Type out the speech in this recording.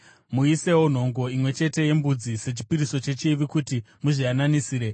Muisewo nhongo imwe chete yembudzi sechipiriso chechivi kuti muzviyananisire.